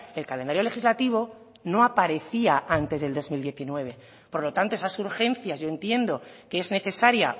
el calendario legislativo no aparecía antes del dos mil diecinueve por lo tanto esas urgencias yo entiendo que es necesaria